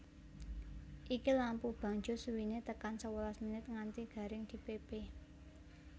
Iki lampu bangjo suwine tekan sewelas menit nganti garing dipepe